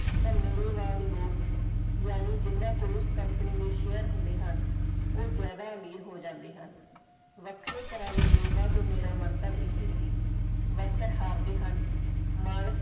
ਤਾਂ ਮੇਰੇ ਵਾਂਗ ਲੋਕ ਯਾਨੀ ਜਿੰਨਾ ਕੋਲੋਂ company ਦੇ share ਹੁੰਦੇ ਹਨ ਉਹ ਜ਼ਿਆਦਾ ਅਮੀਰ ਹੋ ਜਾਂਦੇ ਹਨ ਵੱਖਰੇ ਤਰਾਂ ਦੇ ਨਿਯਮਾਂ ਤੋਂ ਮੇਰਾ ਮਤਲਬ ਇਹੀ ਸੀ worker ਹਾਰਦੇ ਹਨ ਮਾਲਕ।